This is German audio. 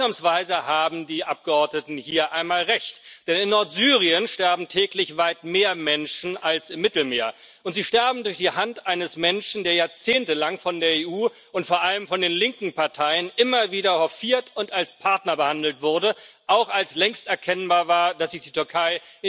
Und ausnahmsweise haben die Abgeordneten hier einmal recht, denn in Nordsyrien sterben täglich weit mehr Menschen als im Mittelmeer, und sie sterben durch die Hand eines Menschen, der jahrzehntelang von der EU und vor allem von den linken Parteien immer wieder hofiert und als Partner behandelt wurde, auch als längst erkennbar war, dass sich die Türkei